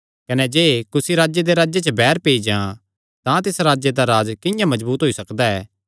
कने जे कुसी राजे दे राज्जे च बैर पेई जां तां तिस राजे दा राज किंआं मजबूत होई सकदा ऐ